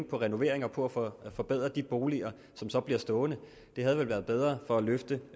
på renoveringer og på at få forbedret de boliger som så bliver stående det havde været bedre for at løfte